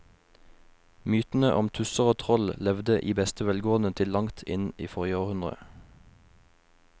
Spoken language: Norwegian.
Mytene om tusser og troll levde i beste velgående til langt inn i forrige århundre.